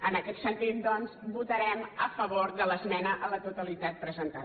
en aquest sentit doncs votarem a favor de l’esmena a la totalitat presentada